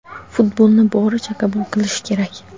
Futbolni boricha qabul qilish kerak!.